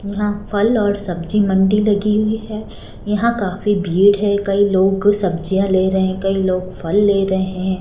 यहां फल और सब्जी मंडी लगी हुई है यहां काफी भीड़ है कई लोग सब्जियां ले रहे हैं कई लोग फल ले रहे हैं।